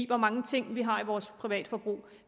hvor mange ting vi har i vores privatforbrug